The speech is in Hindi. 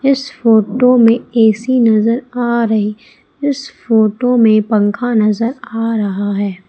इस फोटो में ऐ_सी नजर आ रही है। इस फोटो में पंखा नजर आ रहा है।